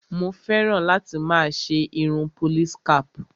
Mo fẹ́ràn láti máa ṣe irun police cap.